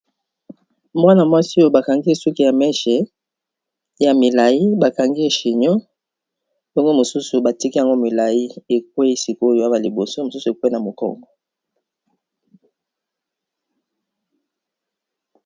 Mwana mwasi oyo ba kangi ye suki ya mèche ya milayi, ba kangi ye chignon, bongo mosusu batiki yango milayi e kweyi sik'oyo awa liboso mosusu ekweyi na mokongo .